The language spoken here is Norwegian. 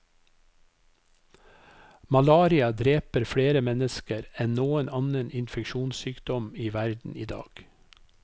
Malaria dreper flere mennesker enn noen annen infeksjonssykdom i verden i dag.